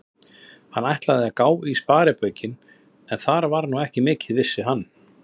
Hann ætlaði að gá í sparibaukinn, en þar var nú ekki mikið, vissi hann.